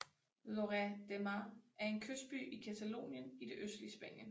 Lloret de Mar er en kystby i Catalonien i det østlige Spanien